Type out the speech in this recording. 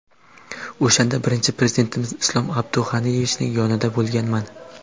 O‘shanda birinchi Prezidentimiz Islom Abdug‘aniyevichning yonida bo‘lganman.